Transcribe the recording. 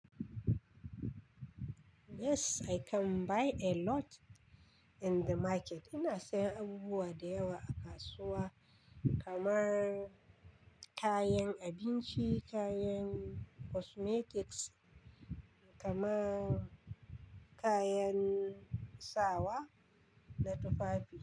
Yes, I can buy a lot in the market. Ina sayen abubuwa da yawa a kasuwa kamar kayan abinci, kayan cosmetics kamar kayan sawa na tufafi.